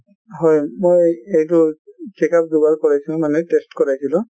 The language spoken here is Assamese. হয় ,মই এইটো checkup দুবাৰ কৰাইছো মানে test কৰাইছিলো